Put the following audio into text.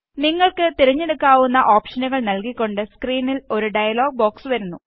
നിങ്ങള്ക്ക് തിരഞ്ഞെടുക്കാവുന്ന ഓപ്ഷനുകള് നല്കിക്കൊണ്ട് സ്ക്രീനില് ഒരു ഡയലോഗ് ബോക്സ് വരുന്നു